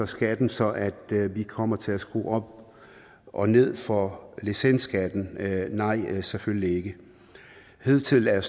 skatten så at vi kommer til at skrue op og ned for licensskatten nej selvfølgelig ikke hidtil er